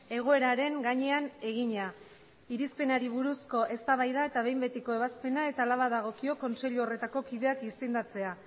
egoeraren gainean egina irizpenari buruzko eztabaida eta behin betiko ebazpena eta hala badagokio kontseilu horretako kideak izendatzea